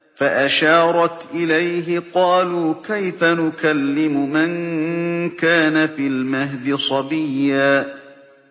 فَأَشَارَتْ إِلَيْهِ ۖ قَالُوا كَيْفَ نُكَلِّمُ مَن كَانَ فِي الْمَهْدِ صَبِيًّا